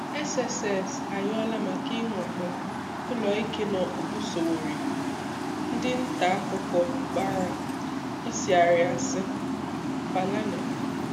SSS ayọla maka inwakpo uloike na okpukpu Sowore, Ndi nta akuko gbara osiari asị-Falana.